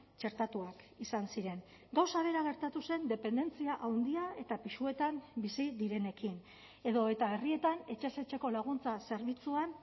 txertatuak izan ziren gauza bera gertatu zen dependentzia handia eta pisuetan bizi direnekin edo eta herrietan etxez etxeko laguntza zerbitzuan